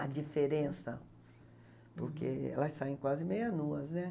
a diferença, porque elas saem quase meia nuas, né?